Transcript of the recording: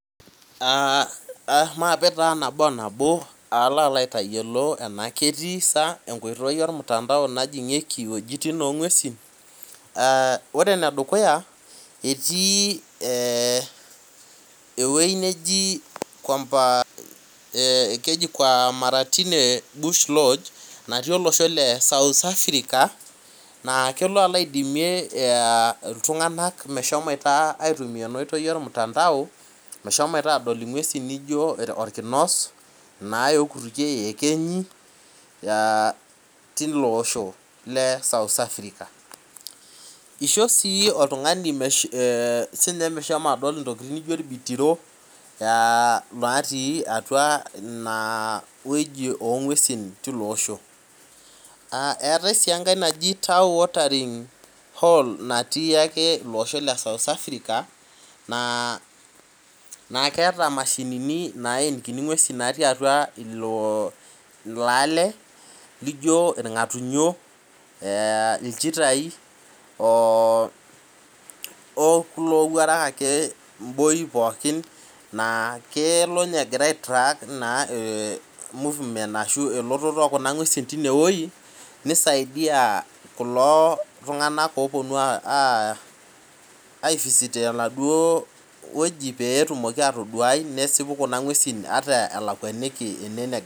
Aa mape taa nabo onabo palo aitayiolo anaa ketii sa enkoitoi ormutandao najingieki wuejitin ongwesi ore enedukuya eruu ewoi naji namatinde bush lonch natii olosho le south Africa na kelo alo aisho ltunganak aitumia enaoitoi ormutandao meshomooto adol ngwesi naijo orkinos, iekenyi aa tilo oosho le south Africa isho si oltungani meshomo adol irbitiro otii atua ina wueji ongwesi tilo oosho eetae si enkae natii iloosho le South Africa na idol orngatunyo, ilchitae peiboyo pooki nisaidia kulo tunganak oponu aai visit inewueji petumoki atadouai kuna ngwesi ataa elakwa.